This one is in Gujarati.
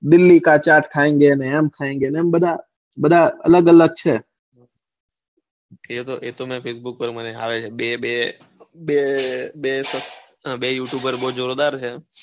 દિલ્હી કા ચેટ ખાયેંગે ને એમ બધા અલગ અલગ છે એતો મારે facebook પર આવે છે બે youtuber બૌ જોરદાર છે.